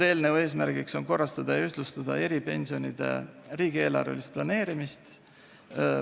Eelnõu eesmärk on korrastada ja ühtlustada eripensionide riigieelarvelist planeerimist.